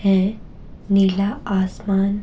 है नीला आसमान--